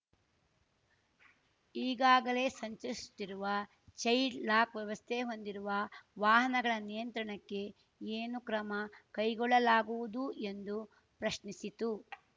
ಈಗಾಗಲೇ ಸಂಚರಿಸುತ್ತಿರುವ child lock ವ್ಯವಸ್ಥೆ ಹೊಂದಿರುವ ವಾಹನಗಳ ನಿಯಂತ್ರಣಕ್ಕೆ ಏನು ಕ್ರಮ ಕೈಗೊಳ್ಳಲಾಗುವುದು ಎಂದು ಪ್ರಶ್ನಿಸಿತು